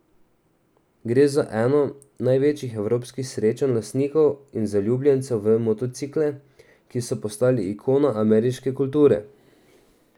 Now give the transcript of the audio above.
Gre za eno največjih evropskih srečanj lastnikov in zaljubljencev v motocikle, ki so postali ikona ameriške kulture.